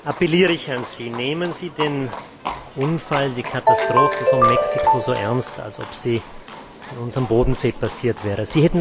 appelliere ich an Sie Nehmen Sie den Unfall, die Katastrophe von Mexiko so ernst, als ob Sie in unserem Bodensee passiert wäre!